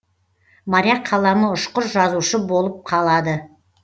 моряк қаламы ұшқыр жазушы болып қалады